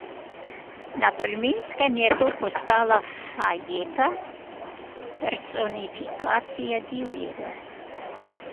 Na Tolminskem je to postala Sajeta, personifikacija divjega.